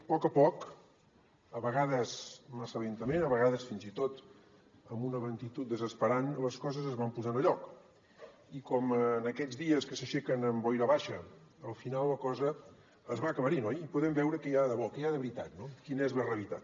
a poc a poc a vegades massa lentament a vegades fins i tot amb una lentitud desesperant les coses es van posant a lloc i com en aquests dies que s’aixequen amb boira baixa al final la cosa es va aclarint oi i podem veure què hi ha de debò que hi ha de veritat no quina és la realitat